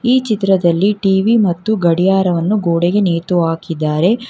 ಈ ಚಿತ್ರದಲ್ಲಿ ಟಿ_ವಿ ಮತ್ತು ಗಡಿಯಾರವನ್ನು ಗೋಡೆಗೆ ನೇತು ಹಾಕಿದ್ದಾರೆ.